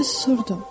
Mən susurdum.